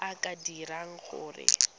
a a ka dirang gore